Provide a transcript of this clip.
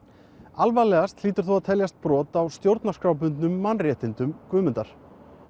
alvarlegast hlýtur þó að teljast brot á stjórnarskrárbundnum mannréttindum Guðmundar